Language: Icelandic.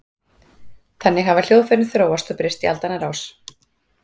Þannig hafa hljóðfærin þróast og breyst í aldanna rás.